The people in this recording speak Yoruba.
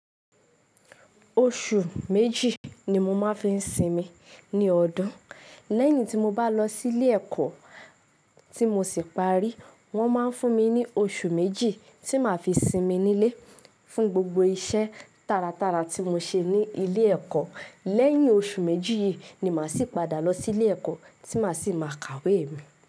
Oṣù méjì ni mo máa ń fi sinmi ní ọdún. Lẹ́yìn tí mo bá lọ sí ilé ẹ̀kọ́ tí mo sì parí. Wọ́n máa ń fún mi ní oṣù méjì tí màá fi sinmi nílé fún gbogbo iṣẹ́ taratara tí mo ṣe ní ilé ẹ̀kọ́. Lẹ́yìn oṣù méjì yìí ni màá sì padà lọ sí ilé ẹ̀kọ́ tí màá sì máa kàwé mi.